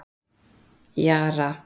Jara